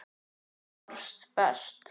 Þú varst best.